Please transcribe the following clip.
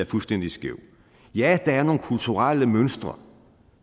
fuldstændig skæv ja der er nogle kulturelle mønstre